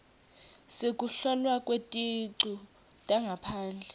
sekuhlolwa kweticu tangaphandle